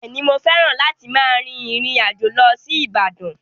Bẹ́ẹ̀ ni, mo fẹ́ràn láti máa rìn ìrìn àjò lọ sí Ibadan.